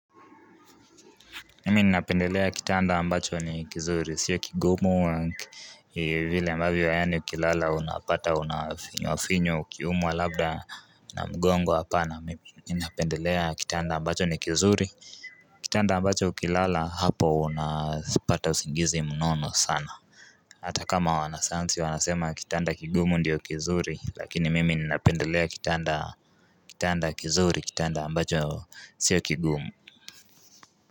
Nimi ninapendelea kitanda ambacho ni kizuri, sio kigumu vile ambavyo, yaani ukilala unapata unafinywafinywa, ukiumwa labda na mgongo hapana mimi ninapendelea kitanda ambacho ni kizuri. Kitanda ambacho ukilala hapo unapata usingizi mnono sana Hata kama wanasayansi wanasema kitanda kigumu ndio kizuri, lakini mimi ninapendelea. Kitanda kizuri kitanda ambacho sio kigumu.